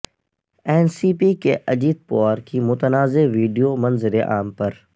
N C P کے اجیت پوار کی متنازعہ ویڈیو منظر عام پر